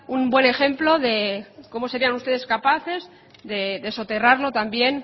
un buen ejemplo de cómo serían ustedes capaces de soterrarlo también